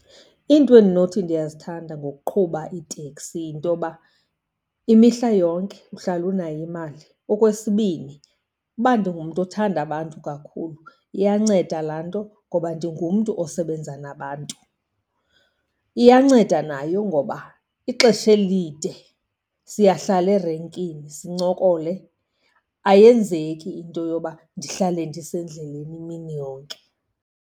Iinto endinothi ndiyazithanda ngokuqhuba iiteksi yinto yoba imihla yonke uhlala unayo imali. Okwesibini, uba ndingumntu othanda abantu kakhulu iyanceda laa nto ngoba ndingumntu osebenza nabantu. Iyanceda nayo ngoba ixesha elide siyahlala erenkini sincokole, ayenzeki into yoba ndihlale ndisendleleni imini yonke.